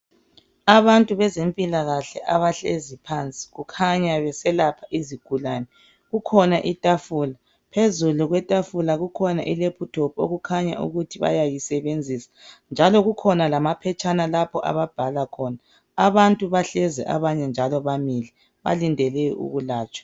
Abantu bezempilakahle abahlezi phansi kukhanya beselapha izigulane, kukhona itafula , phezulu kwetafula kukhona I laptop okukhanya ukuthi bayisebenzisa njalo kukhona lamaphetshana lapho ababhala khona , abantu bahlezi abanye njalo bamile balindele ukwelatshwa